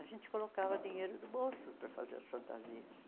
A gente colocava dinheiro do bolso para fazer as fantasias.